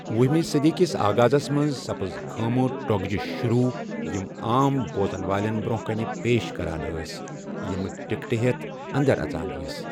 وہمہِ صدی کِس آغازس منزسپزٕ 'خیمہٕ' ٹۄگجہ شروع، یِم عام بوزن والٮ۪ن برونٛہہ کنہ پیش کران ٲسۍ، یِم ٹِکٹہٕ ہٮ۪تھ انٛدر اژان ٲسۍ۔